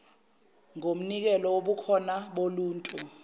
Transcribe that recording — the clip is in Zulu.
lomnikelo wobukhona boluntu